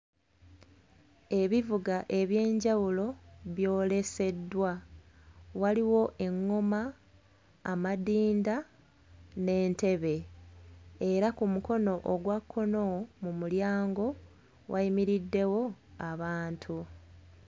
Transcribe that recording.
Ebivuga eby'enjawulo byoleseddwa, waliwo enngoma, amadinda n'entebe. Era ku mukono ogwa kkono mu mulyango wayimiriddewo abantu.